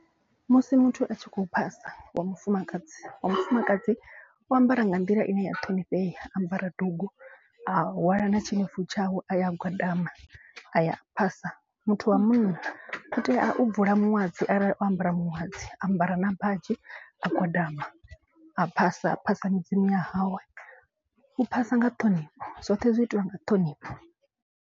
Musi muthu a tshi khou phasa wa mufumakadzi wa mufumakadzi u ambara nga nḓila ine ya ṱhonifhea. A ambara dugu a hwala na tshinefu tshawe a ya a gwadama a ya a phasa. Muthu wa munna u tea u bvula muṅwadzi arali o ambara muṅwadzi a ambara na badzhi a gwadama. A phasa a phasa midzimu ya hawe u phasa nga ṱhonifho zwoṱhe zwi itiwa nga ṱhonifho.